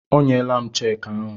O nyela m cheekị ahụ.